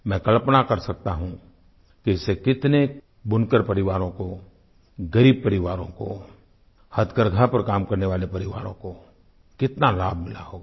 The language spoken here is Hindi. मैं कल्पना कर सकता हूँ कि इससे कितने बुनकर परिवारों को ग़रीब परिवारों को हथकरघा पर काम करने वाले परिवारों को कितना लाभ मिला होगा